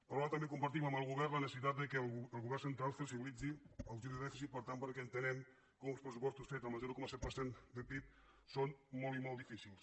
però ara també compartim amb el govern la necessitat que el govern central flexibilitzi l’objectiu de dèficit per tant perquè entenem que uns pressupostos fets amb el zero coma set de pib són molt i molt difícils